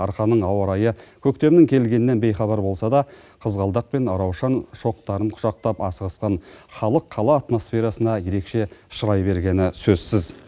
арқаның ауа райы көктемнің келгенінен бейхабар болса да қызғалдақ пен раушан шоқтарын құшақтап асығысқан халық қала атмосферасына ерекше шырай бергені сөзсіз